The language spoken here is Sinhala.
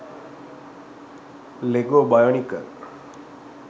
lego bionicle